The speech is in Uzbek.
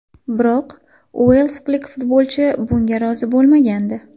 Biroq uelslik futbolchi bunga rozi bo‘lmagandi.